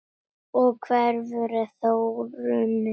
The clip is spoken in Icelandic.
Og hver hefur þróunin orðið?